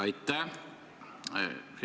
Aitäh!